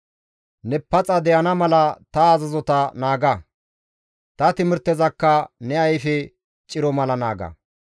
Ne paxa de7ana mala ta azazota naaga; ta timirtezakka ne ayfe ciro mala naaga.